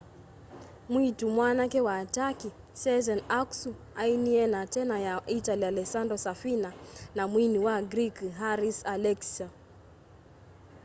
mwiitu mwanake wa turkey sezen aksu ainie na tena ya itali alessandro safina na mwini wa greek haris alexiou